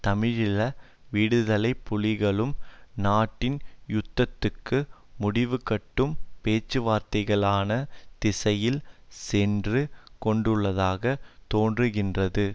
தமிழீழ விடுதலை புலிகளும் நாட்டின் யுத்தத்துக்கு முடிவுகட்டும் பேச்சுவார்த்தைக்கான திசையில் சென்று கொண்டுள்ளதாக தோன்றுகின்றது